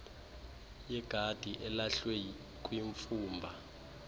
yegadi elahlwe kwimfumba